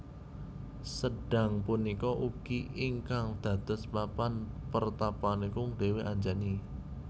Sendhang punika ugi ingkang dados papan pertapanipun Dewi Anjani